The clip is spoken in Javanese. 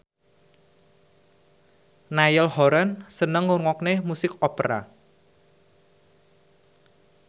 Niall Horran seneng ngrungokne musik opera